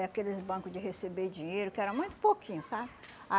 Aqueles banco de receber dinheiro, que era muito pouquinho, sabe?